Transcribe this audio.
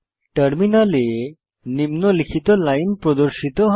টার্মিনালে নিম্নলিখিত লাইন প্রদর্শিত হবে